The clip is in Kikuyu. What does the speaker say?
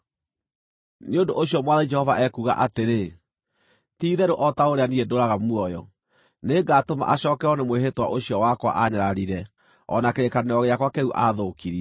“ ‘Nĩ ũndũ ũcio Mwathani Jehova ekuuga atĩrĩ: Ti-itherũ o ta ũrĩa niĩ ndũũraga muoyo, nĩngatũma acookererwo nĩ mwĩhĩtwa ũcio wakwa aanyararire o na kĩrĩkanĩro gĩakwa kĩu aathũkirie.